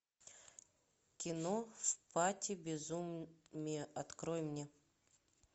кино в пасти безумия открой мне